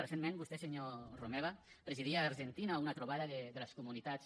recentment vostè senyor romeva presidia a l’argentina una trobada de les comunitats